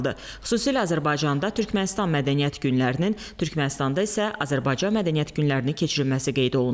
Xüsusilə Azərbaycanda Türkmənistan mədəniyyət günlərinin, Türkmənistanda isə Azərbaycan mədəniyyət günlərinin keçirilməsi qeyd olundu.